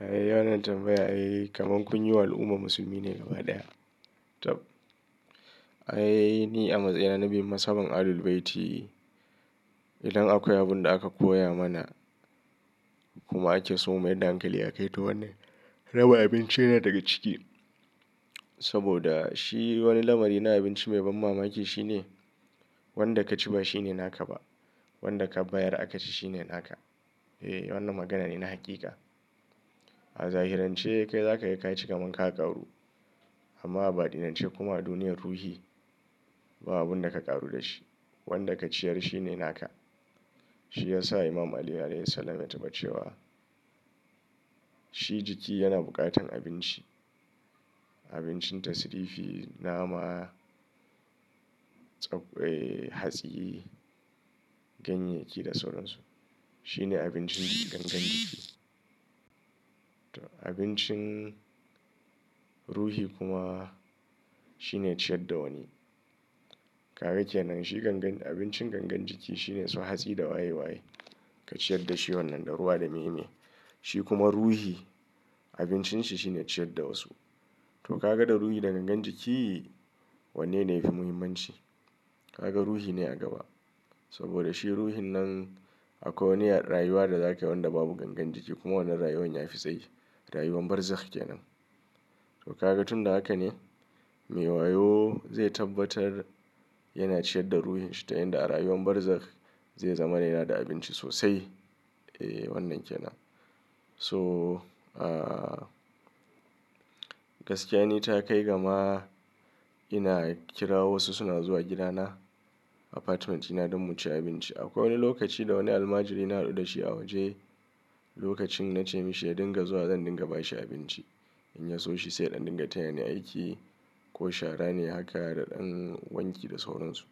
Ai wanan tambaya kamar kun yi wa al'umma musulmi ne gaba ɗaya. Tab, ai ni a matsayina na bi me mazhavan Ahlul Bayti. Idan akwai abin da aka koya mana kuma ake so mu mayarda hankali aka yi ta wannan, raba abinci yana daga ciki. Saboda shi wani lamari na abinci mai ban mamaki shine wanda ka ci ba shine naka ba, wanda ka bayar aka ci shine naka. Eh, wannan magana ne na haqiqa. A zahirance kai za ka yi ka ci kamar ka ƙaru, amma a baɗinance kuma a duniyar ruhi ba abin da ka ƙaru da shi. Wanda ka ciyar shi ne naka. Shi ya sa Imam Ali alaihis salam ya taɓa cewa shi jiki yana buƙatar abinci, abincin tasrifi, nama, tsak, hatsi, ganyayyaki da sauransu. Shi ne abincin gangan jiki. To abincin ruhi kuma shine ciyar da wani. Kaga kenan? Shi gangan abincin gangan jiki shine su hatsi da waye waye ka ciyar da shi wannan, da ruwa da meye ne. Shi kuma ruhi abincin shi shine ciyar da wasu. To ka ga da ruhi da gangan jiki wanne ne yafi muhimmanci? Ka ga ruhi ne a gaba. Saboda shi ruhin nan akwai wani rayuwa da za ka yi wanda babu gangan jiki kuma wannan rayuwa nyafi tsayi. Rayuwar barzakh kenan. To ka ga tun da haka ne mai wayo zai tabbatar yana ciyar da ruhin shi ta yadda a rayuwar barzakh zai zama yana da abinci sosai. Eh wannan kenan. To gaskiya ni ta kai gama ina kira wasu suna zuwa gidana apartment dina don mu ci abinci. Akwai wani lokaci da wani almajiri na haɗu da shi a waje. Lokacin na ce mishi ya dinga zuwa zan dinga ba shi abinci. In ya so shi sai in dinga taya ni aiki ko shara ne haka da ɗan wanki da sauransu.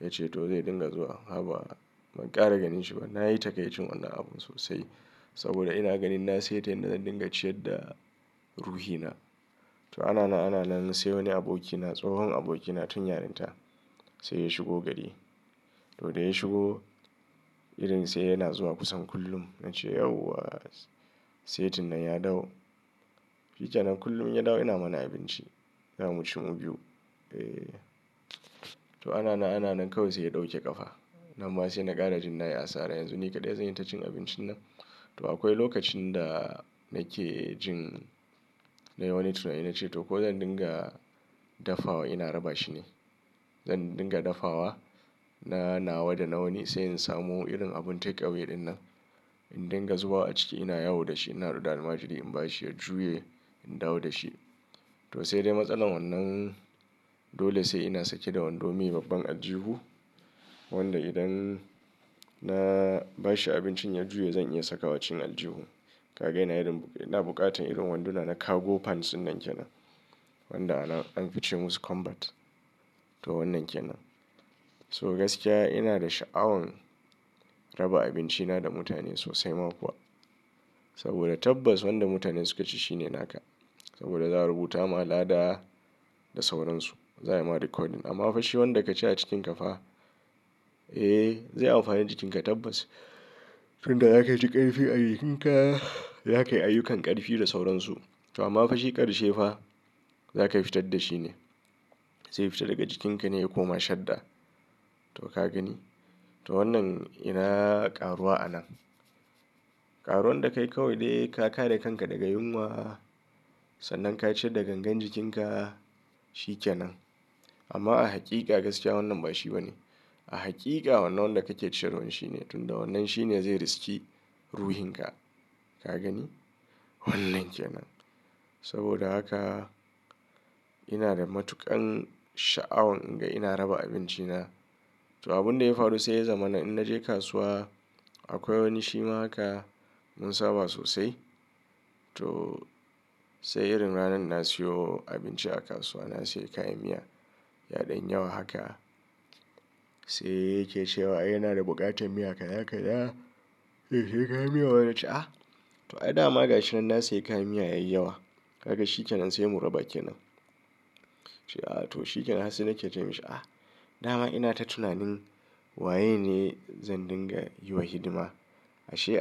Ya ce to zai dinga zuwa. Haba ban ƙara ganin shi ba. Na yi takaicin wannan abun sosai saboda ina ganin na saita yanda zan dinga ciyar da ruhina. To ana na, ana na sai wani abokina, tsohon abokina tun yarinta sai ya shigo gari. To da ya shigo irin sai yana zuwa kusan kullum. Na ce yauwa setin nan ya dau. Shi kenan kullum in ya dawo ina mana abinci za mu ci mu biyu. Eh. To ana nan, ana na kawai sai ya ɗauke ƙafa. Nan ma sai na ƙara jin na yi asara yanzu ni kaɗai zan yi ta cin abincin nan. To akwai lokacin da nake jin nai wani tunani na ce to ko zan dinga dafawa ina raba shi ne. Zan dinga dafawa na nawa da nawani sai in samu irin abun take away ɗinnan in dinga zubawa a ciki ina yawo da shi in na haɗu da almajiri in ba shi ya juye in dawo da shi. To sai dai matsalar wannan dole sai ina sake da wando mai babban aljihu wanda idan na ba shi abincin ya juya zan iya sakawa cikin aljihu. Kaga ina yin, ina buƙatar irin wanduna na cargo pants dinnan kenan. Wanda ana, an fi ce musu combat. To wannan kenan. So gaskiya ina da sha'awan raba abinci na da mutane sosai ma kuwa. Saboda tabbas wanda mutane suka ci shine naka. Saboda za a rubuta ma lada da sauransu. Za a yi ma recording. Amma fa shi wanda ka ci a cikinka fa, eh zai amfani jikinka tabbas. Tun da za ka yi ƙarfi a jikinka za ka yi ayyukan ƙarfi da sauransu. To amma fa shi ƙarshe fa za ka fitar da shi ne. Zai fita daga jikinka ne ya koma shadda. To ka gani? To wannan ina ƙaruwa a nan. Karuwan da ka yi kawai dai ka kare kanka daga yunwa sannan ka ciyar da gangan jikinka shi ke nan. Amma a haqiqa gaskiya wannan ba shi ba ne. A haqiqa wannan wanda kake ciyarwan shi ne. Tun da wannan shi ne zai riski ruhinka. Ka gani? Wannan kenan. Saboda haka ina da matuƙan sha'awan in ga ina raba abinci na. To abunda ya faru sai ya zamana in naje kasuwa akwai wani shi ma haka mun saba sosai. To sai irin ranan na siyo abinci a kasuwa na sayi kayan miya yaɗan yi yawa haka sai yake cewa "ai yana da buƙatar miya kaza kaza." "Eh sai kayan miya?" Na ce ah. To ai dama gashin nan na sayi kayan miya yayi yawa. Kaga shi kenan sai mu raba kenan. Nace "ah to shikenan" sai nake ce mashi "ah da ma ina ta tunanin waye ne zan dinga yi wa hidima". Ashe.